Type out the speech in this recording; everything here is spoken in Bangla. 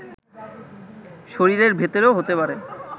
শরীরের ভেতরেও হতে পারে